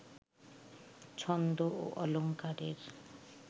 ছন্দ ও অলংকারের